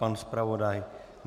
Pan zpravodaj?